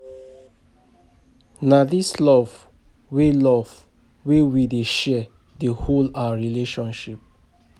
Na di love wey love wey we dey share dey hold our relationship.